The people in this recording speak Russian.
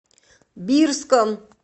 бирском